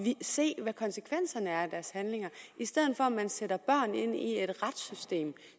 se hvad konsekvenserne er af deres handlinger i stedet for at man sætter børn ind i et retssystem